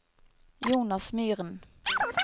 Jonas Myren